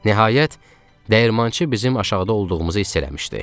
Nəhayət dəyirmançı bizim aşağıda olduğumuzu hiss eləmişdi.